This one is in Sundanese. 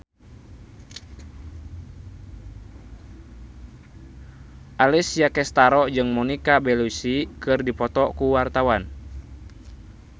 Alessia Cestaro jeung Monica Belluci keur dipoto ku wartawan